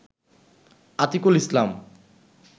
Atikul Islam